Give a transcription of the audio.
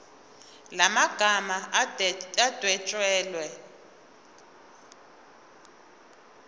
la magama adwetshelwe